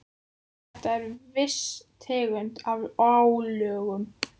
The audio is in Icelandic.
Þetta er viss tegund af álögum.